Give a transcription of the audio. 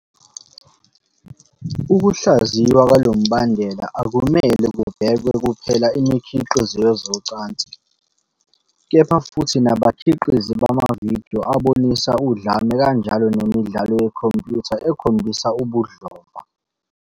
Ukuhlaziywa kwalo mbandela akumele kubhekwe kuphela imikhiqizo yezocansi, kepha futhi nabakhiqizi bamavidiyo abonisa udlame kanjalo nemidlalo yekhompyutha ekhombisa ubudlova.